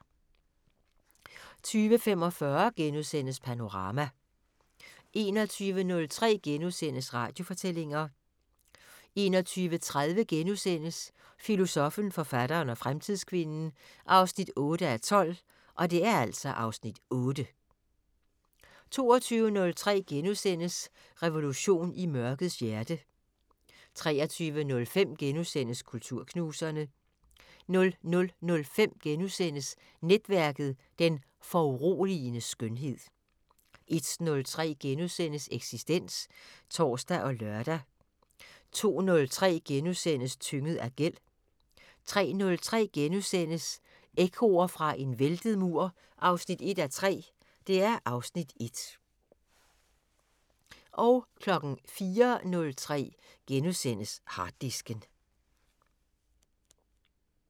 20:45: Panorama * 21:03: Radiofortællinger * 21:30: Filosoffen, forfatteren og fremtidskvinden 8:12 (Afs. 8)* 22:03: Revolten i mørkets hjerte * 23:05: Kulturknuserne * 00:05: Netværket: Den foruroligende skønhed * 01:03: Eksistens *(tor og lør) 02:03: Tynget af gæld * 03:03: Ekkoer fra en væltet mur 1:3 (Afs. 1)* 04:03: Harddisken *